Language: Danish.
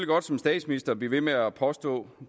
godt som statsminister blive ved med at påstå